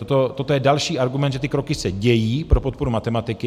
Toto je další argument, že ty kroky se dějí pro podporu matematiky.